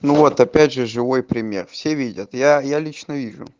ну вот опять же живой пример все видят я я лично вижу